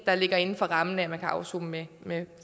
der ligger inden for rammen af at man kan afsone med